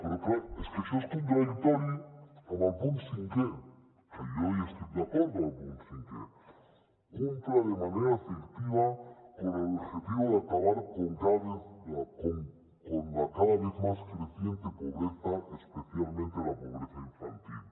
però clar és que això és contradictori amb el punt cinquè que jo hi estic d’acord amb el punt cinquè cumpla de manera efectiva con el objetivo de acabar con la cada vez más creciente pobreza especialmente la pobreza infantil